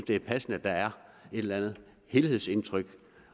det er passende at der er et eller andet helhedsindtryk